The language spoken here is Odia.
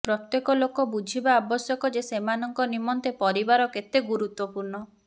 ପ୍ରତ୍ୟେକ ଲୋକ ବୁଝିବା ଆବଶ୍ୟକ ଯେ ସେମାନଙ୍କ ନିମନ୍ତେ ପରିବାର କେତେ ଗୁରୁତ୍ବପୂର୍ଣ୍ଣ